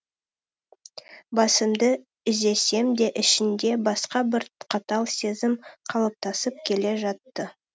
басымды изесем де ішімде басқа бір қатал сезім қалыптасып келе жатты